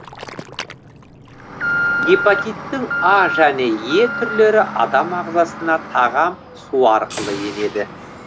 гепатиттің а және е түрлері адам ағзасына тағам су арқылы енеді